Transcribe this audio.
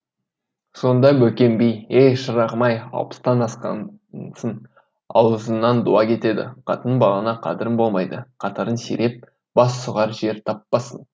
сонда бөкен би е шырағым ай алпыстан асқансын ауызыңнан дуа кетеді қатын балаңа қадірің болмайды қатарың сиреп бас сұғар жер таппассың